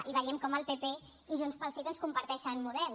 i veiem com el pp i junts pel sí doncs comparteixen model